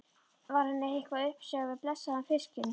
Var henni eitthvað uppsigað við blessaðan fiskinn?